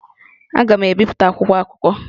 Aga m ebipụta akwụkwọ akụkọ?